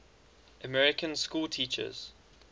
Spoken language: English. american schoolteachers